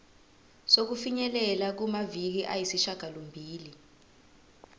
sokufinyelela kumaviki ayisishagalombili